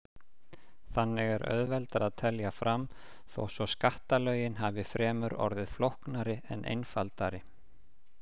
Þannig er auðveldara að telja fram þó svo skattalögin hafi fremur orðið flóknari en einfaldari.